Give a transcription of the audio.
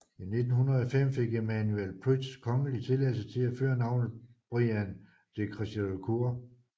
I 1905 fik Emmanuel Prytz kongelig tilladelse til at føre navnet Briand de Crèvecoeur